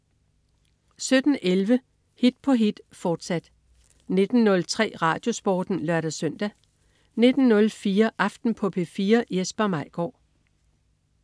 17.11 Hit på hit, fortsat 19.03 RadioSporten (lør-søn) 19.04 Aften på P4. Jesper Maigaard